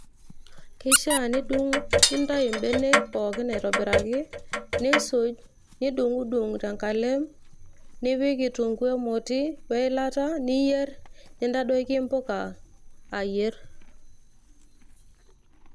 Kishaa nidung nintayu imbenek pookin aitobiraki niisuj nidung'udung' tenkalem nipik kitunguu emoti weilata niyierr nintadoiki impuka ayierr].